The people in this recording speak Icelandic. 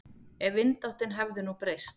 Ef vindáttin hefði nú breyst.